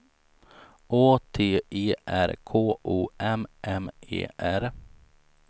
Å T E R K O M M E R